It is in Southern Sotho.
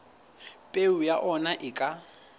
peo ya ona e ka